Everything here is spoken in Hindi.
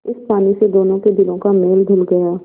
इस पानी से दोनों के दिलों का मैल धुल गया